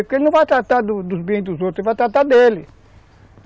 Porque ele não vai tratar dos bens dos outros, ele vai tratar dele.